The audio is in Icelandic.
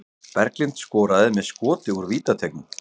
Berglind skoraði með skoti úr vítateignum